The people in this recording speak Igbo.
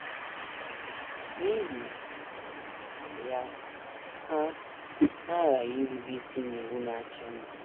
N’ihi ya, ha, ha aghaghị irube isi n’iwu na - achị mba.